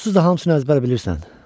Onsuz da hamısını əzbər bilirsən.